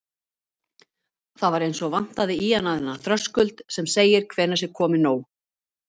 Það var eins og vantaði í hana þennan þröskuld sem segir hvenær sé komið nóg.